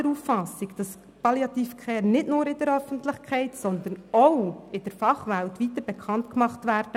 Palliative Care muss nicht nur in der Öffentlichkeit, sondern auch in der Fachwelt breiter bekannt gemacht werden.